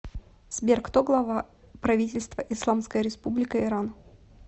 сбер кто глава правительства исламская республика иран